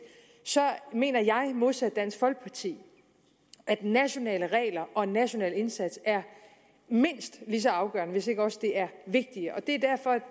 så mener jeg modsat dansk folkeparti at nationale regler og national indsats er mindst lige så afgørende hvis ikke også det er vigtigere